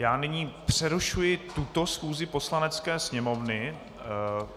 Já nyní přerušuji tuto schůzi Poslanecké sněmovny.